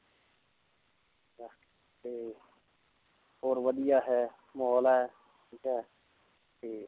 ਤੇ ਹੋਰ ਵਧੀਆ ਹੈ ਮਾਹੌਲ ਹੈ ਠੀਕ ਹੈ ਤੇ